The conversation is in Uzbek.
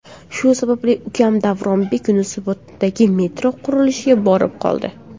Shu sababli ukam Davronbek Yunusoboddagi metro qurilishiga borib qoldi.